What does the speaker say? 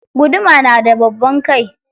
Guduma na da babban kai.